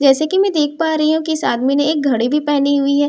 जैसे कि मैं देख पा रही हूं कि इस आदमी ने एक घड़ी भी पहनी हुई है।